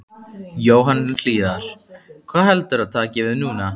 Jóhann Hlíðar: Hvað heldurðu að taki við núna?